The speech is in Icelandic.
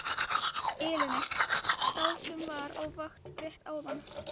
Elenu, þá sem var á vakt rétt áðan.